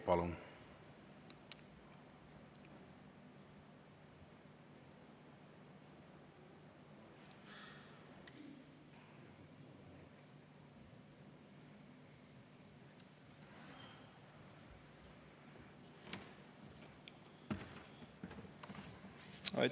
Palun!